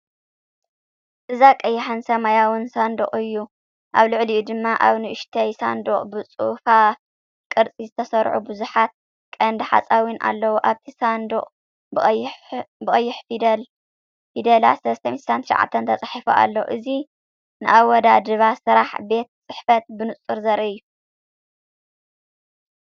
እዚ ቀይሕን ሰማያውን ሳንዱቕ እዩ። ኣብ ልዕሊኡ ድማ ኣብ ንእሽቶ ሳንዱቕ ብጽፉፍ ቅርጺ ዝተሰርዑ ብዙሓት ቀንዲ ሓፃዊን ኣለዉ፤ ኣብቲ ሳጹን ብቐይሕ ፊደላት ‘369’ ተጻሒፉ ኣሎ። እዚ ንኣወዳድባ ስራሕ ቤት ጽሕፈት ብንጹር ዘርኢ እዩ።